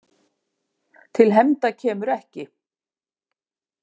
Til hefnda kemur ekki!